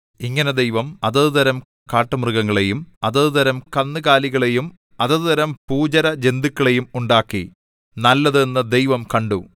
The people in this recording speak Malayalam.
ഇങ്ങനെ ദൈവം അതത് തരം കാട്ടുമൃഗങ്ങളെയും അതത് തരം കന്നുകാലികളെയും അതത് തരം ഭൂചരജന്തുക്കളെയും ഉണ്ടാക്കി നല്ലത് എന്നു ദൈവം കണ്ടു